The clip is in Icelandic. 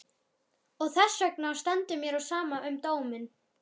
Og þessvegna stendur mér á sama um dóminn.